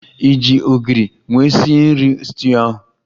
Ị ji ogiri nwe sie nri stuuyu a?